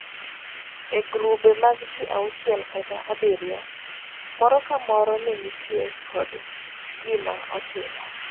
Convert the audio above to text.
E gurube mag ji auchiel kata abiriyo, moro ka moro ne nitie kod gima otimo.